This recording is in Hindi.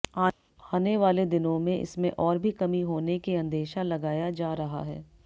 आने वाले दिनों में इसमें और भी कमी होने के अंदेशा लगाया जा रहा है